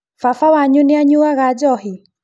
Baba wanyu nĩanyuaga njohi?